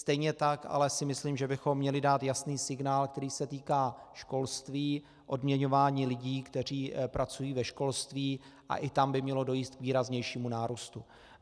Stejně tak ale si myslím, že bychom měli dát jasný signál, který se týká školství, odměňování lidí, kteří pracují ve školství, a i tam by mělo dojít k výraznějšímu nárůstu.